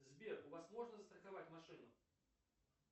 сбер у вас можно застраховать машину